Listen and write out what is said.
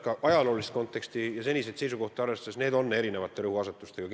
Aga ajaloolist konteksti ja seniseid seisukohti arvestades võib eeldada, et need on kindlasti erinevate rõhuasetustega.